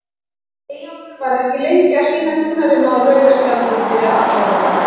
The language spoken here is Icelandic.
Eyjólfur var ekki lengi að sýna Gunnari Má rauða spjaldið fyrir athæfið.